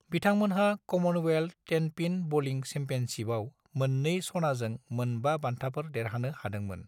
बिथांमोनहा Commonwealth tenpin bowling चेम्पियनशिपआव मोन-2 सनाजों मोन-5 बान्थाफोर देरहानो हादोंमोन।